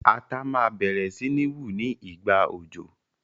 Ata ma bẹ̀rẹ̀ si ni wu ni ìgbà òjò